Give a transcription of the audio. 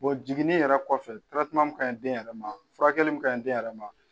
jinginni yɛrɛ kɔfɛ min ka ɲi den yɛrɛ ma furakɛli min ka ɲi den yɛrɛ ma